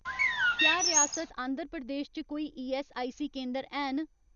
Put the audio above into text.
क्या रियासत आंध्र प्रदेश च कोई ईऐस्सआईसी केंदर हैन